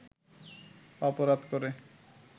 অপরাধ করে